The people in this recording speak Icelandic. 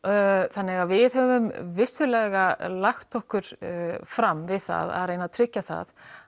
þannig að við höfum vissulega lagt okkur fram við það að reyna að tryggja það